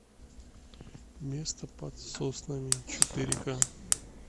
место под соснами четыре ка